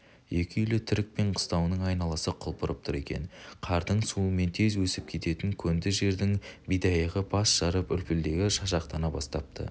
екі үйлі түрікпен қыстауының айналасы құлпырып тұр екен қардың суымен тез өсіп кететін көнді жердің бидайығы бас жарып үлпілдегі шашақтана бастапты